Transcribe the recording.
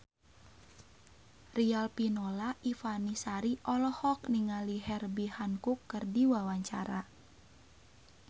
Riafinola Ifani Sari olohok ningali Herbie Hancock keur diwawancara